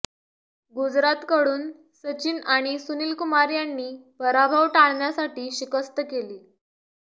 गुजरातकडून सचिन आणि सुनीलकुमार यांनी पराभव टाळण्यासाठी शिकस्त केली